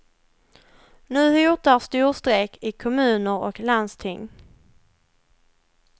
Nu hotar storstrejk i kommuner och landsting.